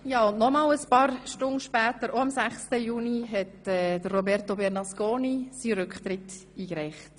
Nochmals ein paar Stunden später, auch am 6. Juni, hat Roberto Bernasconi sein Rücktrittsschreiben eingereicht.